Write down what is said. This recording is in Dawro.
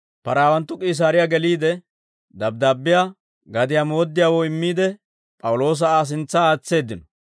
Paraawanttu K'iisaariyaa geliide, dabddaabbiyaa gadiyaa mooddiyaawoo immiide, P'awuloosa Aa sintsa aatseeddino.